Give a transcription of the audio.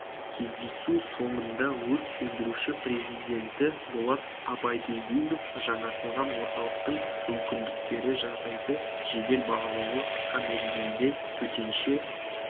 кездесу соңында өрт сөндіруші президенті болат абайділдинов жаңғыртылған орталықтың мүмкіндіктері жағдайды жедел бағалауға қысқа мерзімде төтенше